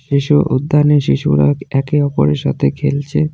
শিশু উদ্যানে শিশুরা একে অপরের সাথে খেলছে।